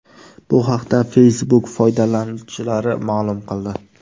Bu haqda Facebook foydalanuvchilari ma’lum qildi .